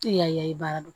Tɛ yaye baara don